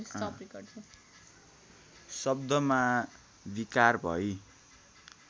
शब्दमा विकार भई